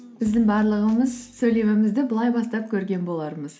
біздің барлығымыз сөйлемімізді былай бастап көрген болармыз